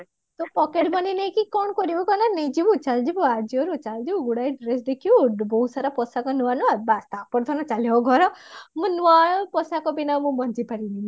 ତୁ pocket money ନେଇକି କଣ କରିବୁ କହିଲ ନେଇଯିବୁ Ajio ରେ ଚାଲ ଯିବୁ ଗୁଡାଏ ଜିନିଷ ଦେଖିବୁ ବହୁତ ସାରା ପୋଷାକ ନୂଆ ନୂଆ ତାପରେ ଧନ ଚାଲିବ ଘର ମୁଁ ନୂଆ ପୋଷାକ ବିନା ମୁଁ ବଞ୍ଚି ପାରିବିନି